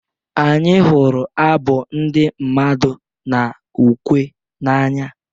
Anyị hụrụ abụ ndị mmadụ na ukwe n'anya